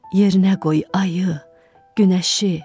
Yerinə qoy ayı, günəşi.